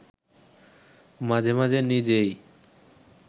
মাঝে মাঝে নিজেই